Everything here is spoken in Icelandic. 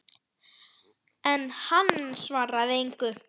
En hann svaraði engu.